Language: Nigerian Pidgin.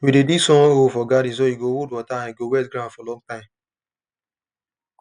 we dey dig small hole for garden so e go hold water and e go wet ground for long time